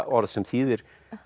orð sem þýðir